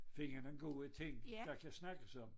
Finde nogen gode ting der kan snakkes om